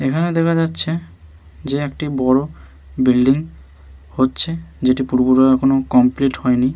এখানে দেখা যাচ্ছে যে একটি বড়ো বিল্ডিং হচ্ছে যেটি পুরোপুরি এখনো কমপ্লিট হয়নি।